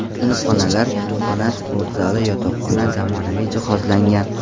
Sinfxonalar, kutubxona, sport zali, yotoqxona zamonaviy jihozlangan.